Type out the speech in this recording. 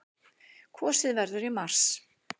Kosið verður í mars.